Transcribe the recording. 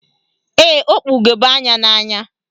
Ee, o kpu ugegbe anya n'anya.